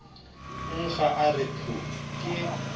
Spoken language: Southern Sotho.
nkga a re phu ke